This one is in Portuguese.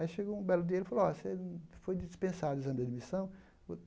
Aí chegou um belo dia ele falou oh você, foi dispensado o exame de admissão.